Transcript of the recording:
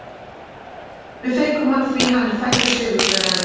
Við fengum hann því að hann er fæddur sigurvegari.